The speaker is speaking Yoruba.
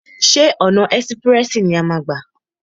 Ṣé ọ̀nà ẹ́sprẹ̀sì ni a máa a gbà?